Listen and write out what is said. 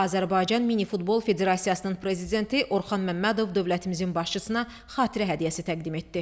Azərbaycan minifutbol Federasiyasının prezidenti Orxan Məmmədov dövlətimizin başçısına xatirə hədiyyəsi təqdim etdi.